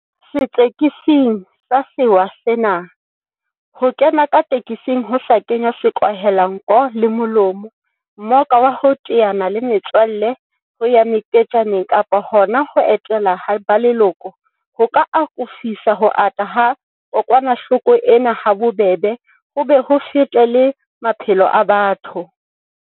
Setsiketsing sa sewa sena, ho kena ka tekesing ho sa kenngwa sekwahelanko le molomo, mmoka wa ho teana le metswalle, ho ya meketjaneng kapa hona ho etela ba leloko, ho ka akofisa ho ata ha kokwanahloko ena habobebe ho be ho fete le maphelo a batho.